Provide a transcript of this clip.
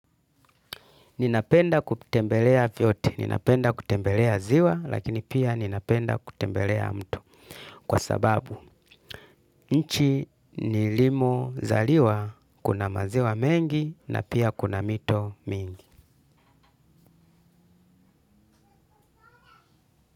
Ninapenda kutembelea vyote, ninapenda kutembelea ziwa, lakini pia ninapenda kutembelea mtu. Kwa sababu, nchi ni limo zaliwa, kuna maziwa mengi, na pia kuna mito mingi.